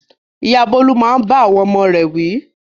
Ìyá Bólú máa ń bá àwọn ọmọ rẹ̀ wí.